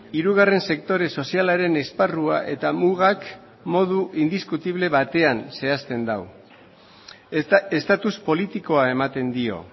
hirugarren sektore sozialaren esparrua eta mugak modu indiskutible batean zehazten du estatus politikoa ematen dio